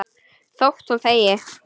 Þótt hún þegi.